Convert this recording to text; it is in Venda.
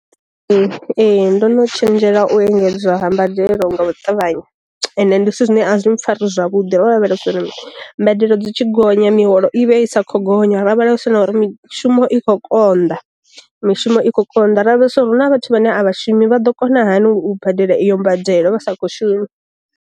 Ee ndo no tshenzhela u engedzwa ha mbadelo nga u tavhanya, ende ndi zwithu zwine a zwi mpfara zwavhuḓi ro lavhelesa uri mbadelo dzi tshi gonya mi holo i vha i sa kho gonya ra lavhelesa na uri mishumo ikho konḓa, mishumo ikho konḓa, ra lavhelesa uri huna vhathu vhane a vhashumi vha ḓo kona hani u badela iyo mbadelo vha sa kho shuma.